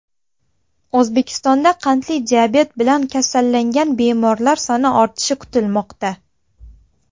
O‘zbekistonda qandli diabet bilan kasallangan bemorlar soni ortishi kutilmoqda.